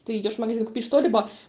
ты идёшь в магазин купи что либо